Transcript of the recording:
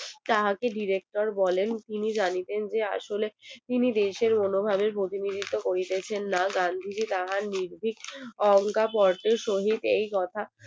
তাহাকে director বলেন তিনি জানিতেন যে আসলএ তিনি দেশের কোনোভাবেই প্রতিনিধিত্ব করিতেছেন না গান্ধীজি তাহার নির্ভীক অহংকার গর্বের সহিত এই কথা